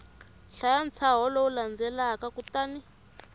hlaya ntshaho lowu landzelaka kutani